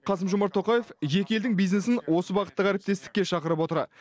қасым жомарт тоқаев екі елдің бизнесін осы бағыттағы әріптестікке шақырып отыр